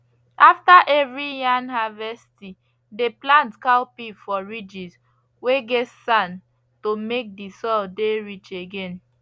after every yan harvesti dey plant cowpea for ridges whey get sand to make the soil dey rich again